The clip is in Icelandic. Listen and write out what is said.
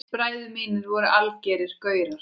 Bræður mínir voru algerir gaurar.